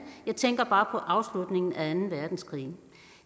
jeg tænker bare afslutningen af anden verdenskrig